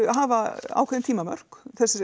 hafa ákveðin tímamörk